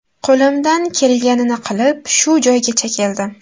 Qo‘limdan kelganini qilib shu joygacha keldim.